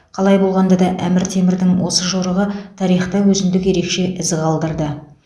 қалай болғанда да әмір темірдің осы жорығы тарихта өзіндік ерекше із қалдырды